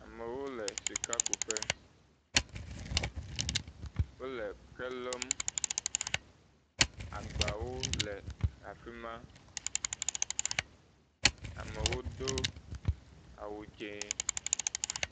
Amewo le sikakuƒe, wole ke lɔm, agbawo le afi ma, amewo do awu dz0.